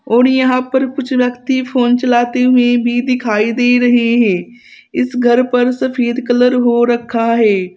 और यहां पर कुछ व्यक्ति फोन चलाती हुई भी दिखाई दे रहे हैं इस घर पर सफेद कलर हो रखा है।